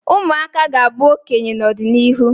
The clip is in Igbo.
ụmụaka ga-abụ okenye n'ọdịnihu